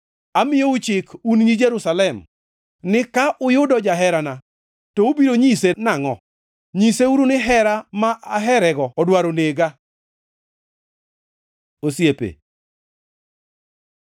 Amiyou chik, un nyi Jerusalem ni ka uyudo jaherana, to ubiro nyise nangʼo? Nyiseuru ni hera ma aherego odwaro nega? Osiepe